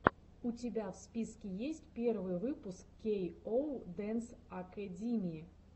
у тебя в списке есть первый выпуск кей оу дэнс акэдими